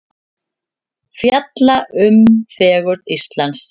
Fjalla um fegurð Íslands